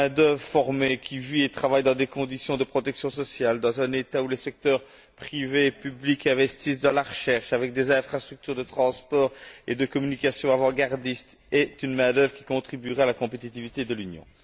Une main d'œuvre formée, qui vit et travaille dans des conditions de protection sociale, dans un État où les secteurs privé et public investissent dans la recherche, avec des infrastructures de transport et de communication avant gardistes, est une main d'œuvre qui contribuera à la compétitivité de l'Union.